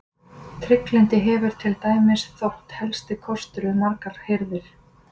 Trygglyndi hefur til dæmis þótt helsti kostur við margar hirðir.